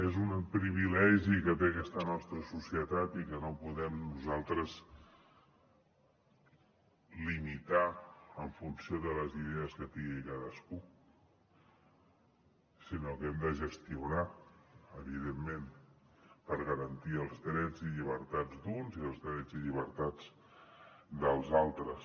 és un privilegi que té aquesta nostra societat i que no podem nosaltres limitar lo en funció de les idees que tingui cadascú sinó que l’hem de gestionar evidentment per garantir els drets i llibertats d’uns i els drets i llibertats dels altres